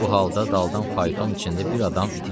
Bu halda daldan fayton içində bir adam iti gəlirdi.